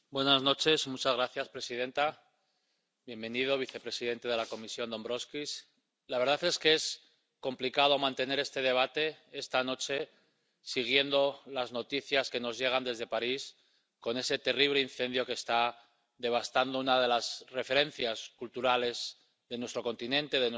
Señora presidenta, vicepresidente de la Comisión Dombrovskis, la verdad es que es complicado mantener este debate esta noche siguiendo las noticias que nos llegan desde París con ese terrible incendio que está devastando una de las referencias culturales de nuestro continente, de nuestra Europa,